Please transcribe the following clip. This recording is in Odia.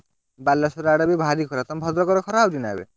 ବାଲେଶ୍ଵର ଆଡେ ବି ଭାରି ଖରା ତମ ଭଦ୍ରକ ରେ ବି ଖରା ହଉଛି ନା ଏବେ?